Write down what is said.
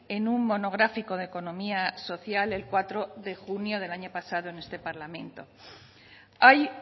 en un monográfico de economía social el cuatro de junio del año pasado en este parlamento hay